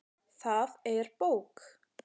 Það er bók.